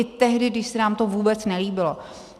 I tehdy, když se nám to vůbec nelíbilo.